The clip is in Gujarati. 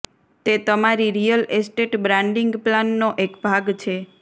તે તમારી રિયલ એસ્ટેટ બ્રાન્ડિંગ પ્લાનનો એક ભાગ છે